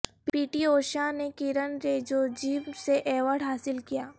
پی T Usha نے کرن ریجیجو سے award حاصل کیا